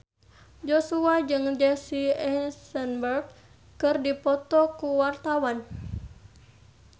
Joshua jeung Jesse Eisenberg keur dipoto ku wartawan